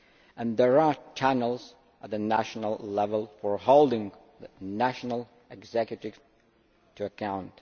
and there are channels at the national level for holding national executives to account.